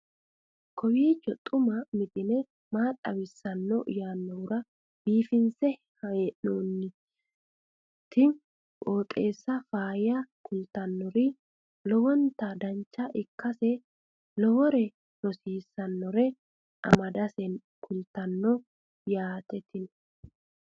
kowiicho xuma mtini maa xawissanno yaannohura biifinse haa'noonniti qooxeessano faayya kultannori lowonta dancha ikkase lowore rosiisannore amadase kultannote yaate tini